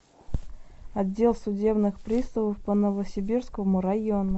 отдел судебных приставов по новосибирскому району